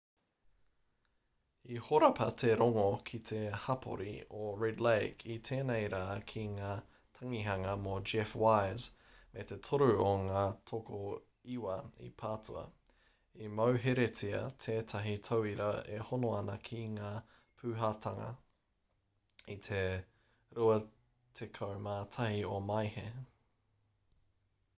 i horapa te rongo ki te hapori o red lake i tēnei rā ki ngā tangihanga mō jeff wise me te toru o ngā tokoiwa i patua i mauheretia tētahi tauira e hono ana ki ngā pūhitanga i te 21 o maehe